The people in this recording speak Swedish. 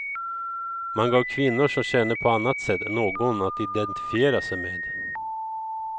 Man gav kvinnor som känner på annat sätt någon att identifiera sig med.